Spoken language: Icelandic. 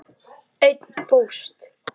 Einn fórst.